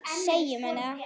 Segjum henni það.